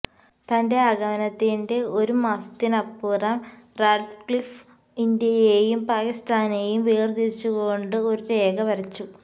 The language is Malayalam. തന്റെ ആഗമനത്തിന്റെ ഒരുമാസത്തിനിപ്പുറം റാഡ്ക്ലിഫ് ഇന്ത്യയെയും പാക്കിസ്ഥാനെയും വേര്തിരിച്ചുകൊണ്ട് ഒരു രേഖ വരച്ചു